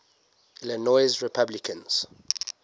illinois republicans